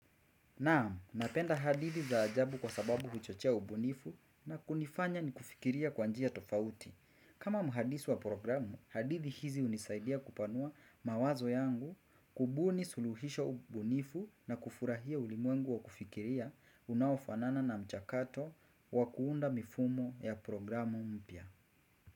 Naam, napenda hadithi za ajabu kwa sababu huchochea ubunifu na kunifanya ikufikiria kwa njia tofauti. Kama mhadisi wa programu, hadithi hizi hunisaidia kupanua mawazo yangu, kubuni suluhisho ubunifu na kufurahia ulimwengu wa kufikiria, unaofanana na mchakato wa kuunda mifumo ya programu mpya.